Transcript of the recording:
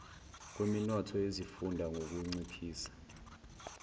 kweminotho yezifunda ngukunciphisa